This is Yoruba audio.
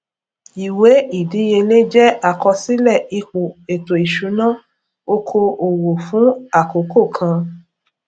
ìwé ìdíyelé jẹ àkọsílẹ ipò ètò ìṣúná oko òwò fún àkókò kan